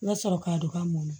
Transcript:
N ka sɔrɔ k'a don k'a mɔn